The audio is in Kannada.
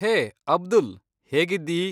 ಹೇ, ಅಬ್ದುಲ್, ಹೇಗಿದ್ದೀ?